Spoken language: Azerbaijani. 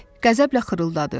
İt qəzəblə xırıldadı.